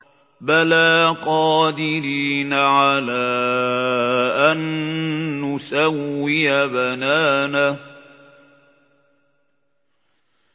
بَلَىٰ قَادِرِينَ عَلَىٰ أَن نُّسَوِّيَ بَنَانَهُ